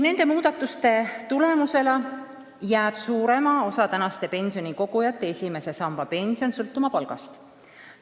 Nende muudatuste tulemusena jääb suurema osa praeguste pensionikogujate esimese samba pension sõltuma palgast.